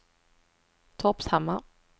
Torpshammar